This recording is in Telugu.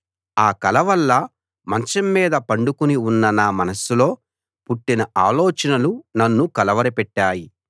ఆ కల వల్ల మంచం మీద పండుకుని ఉన్న నా మనస్సులో పుట్టిన ఆలోచనలు నన్ను కలవరపెట్టాయి